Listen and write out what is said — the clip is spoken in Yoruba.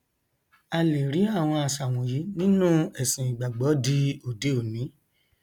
a lẹ rí àwọn àṣà wọnyí nínú ẹsìn ìgbàgbọ di òdeòní